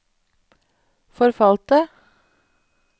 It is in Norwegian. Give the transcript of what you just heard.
forfalte